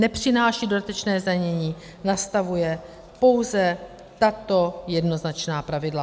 Nepřináší dodatečné zdanění, nastavuje pouze tato jednoznačná pravidla.